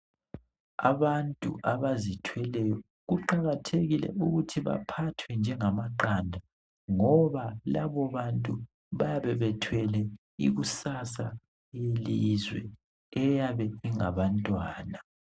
Abantu abazithweleyo kuqakathekile ukuthi baphathwe njengamaqanda ngoba labo bantu bayabe bethwele ikusasa yelizwe eyabe ingabantwana.